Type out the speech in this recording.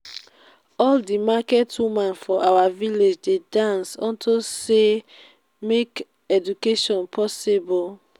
all the market woman for our village dey dance unto say make education possible